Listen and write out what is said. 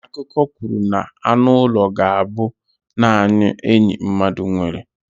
Akụkọ kwuru na anụ ụlọ ga-abụ naanị enyi mmadụ nwere.